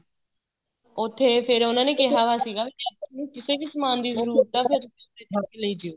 ਉੱਥੇ ਫ਼ੇਰ ਉਹਨਾ ਨੇ ਕਿਹਾ ਹੋਇਆ ਸੀਗਾ ਕਿਸੇ ਨੂੰ ਕਿਸੇ ਸਮਾਨ ਦੀ ਜਰੂਰਤ ਏ ਫ਼ੇਰ ਉੱਥੋ ਫੜ ਕੇ ਲੈ ਜੀਓ